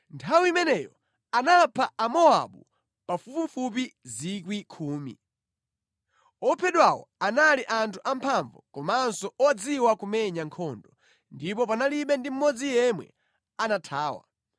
Nthawi imeneyo anapha Amowabu pafupifupi 10,000. Ophedwawo anali anthu amphamvu komanso odziwa kumenya nkhondo, ndipo panalibe ndi mmodzi yemwe anathawa.